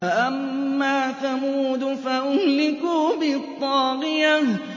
فَأَمَّا ثَمُودُ فَأُهْلِكُوا بِالطَّاغِيَةِ